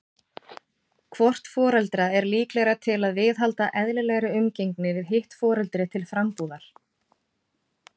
Hvort foreldra er líklegra til að viðhalda eðlilegri umgengni við hitt foreldri til frambúðar?